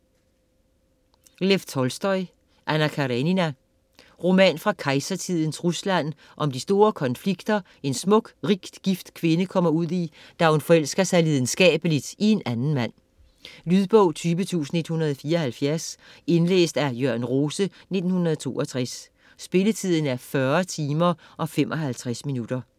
Tolstoj, Lev: Anna Karenina Roman fra kejsertidens Rusland om de store konflikter, en smuk, rigt gift kvinde kommer ud i, da hun forelsker sig lidenskabeligt i en anden mand. Lydbog 20174 Indlæst af Jørn Rose, 1962. Spilletid: 40 timer, 55 minutter.